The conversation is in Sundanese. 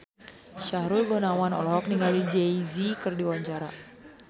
Sahrul Gunawan olohok ningali Jay Z keur diwawancara